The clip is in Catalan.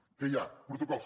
què hi ha protocols